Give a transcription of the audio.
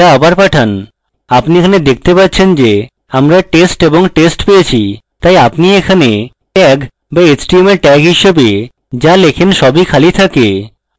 আপনি এখানে দেখতে পাচ্ছেন যে আমরা test এবং test পেয়েছি তাই আপনি এখানে tag বা html tag হিসাবে যা লেখেন সবই খালি থাকে